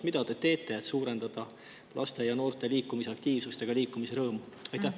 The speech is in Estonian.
Mida te teete, et suurendada laste ja noorte liikumisaktiivsust ja liikumisrõõmu?